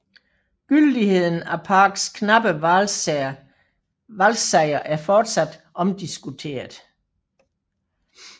Gyldigheden af Parks knappe valgsejr er fortsat omdiskuteret